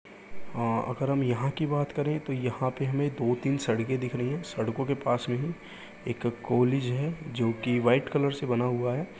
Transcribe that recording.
और अगर हम यहाँ की बात करे तो यहाँ पे हमे दो तीन सड़के दिख रही है सडको के पास में ही एक कॉलेज है जोकि वाइट कलर से बना हुआ है।